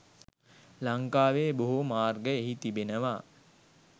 ලංකාවේ බොහෝ මාර්ග එහි තිබෙනවා